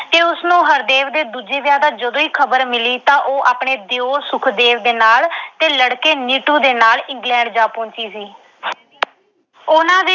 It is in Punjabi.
ਤੇ ਉਸਨੂੰ ਹਰਦੇਵ ਦੇ ਦੂਜੇ ਵਿਆਹ ਦੀ ਜਦੋਂ ਈ ਖਬਰ ਮਿਲੀ ਤਾਂ ਉਦੋਂ ਹੀ ਉਹ ਆਪਣੇ ਦਿਉਰ ਸੁਖਦੇਵ ਤੇ ਲੜਕੇ ਨੀਟੂ ਦੇ ਨਾਲ England ਜਾ ਪਹੁੰਚੀ ਸੀ। ਉਹਨਾਂ ਦੇ